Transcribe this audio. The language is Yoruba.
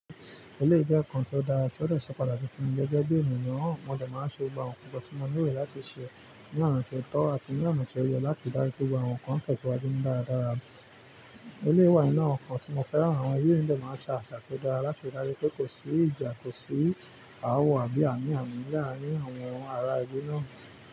Eléyìí jẹ́ nǹkan tí ó dára tí ó dè ṣe pàtàkì fún mi gẹ́gẹ́ bí ènìyàn. Mo dẹ máa ń ṣe gbogbo nkan tí mo nílò láti ṣe ní ọ̀nà tí ó tọ́ àti ní ọ̀nà tí ó yẹ láti ri pé àwọn nǹkan tẹ̀síwájú ni dáradára. Eléyín wà ninu awon nkan tí mo fẹ́ràn, àwọn ẹleyií de máa ń sa àṣà tó dára láti dári pé kò sí ìjà, kò sí àawọ̀ àbí ànì ànì ní àárín àwọn ará ìle náà.